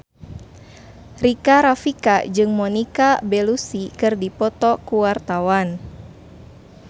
Rika Rafika jeung Monica Belluci keur dipoto ku wartawan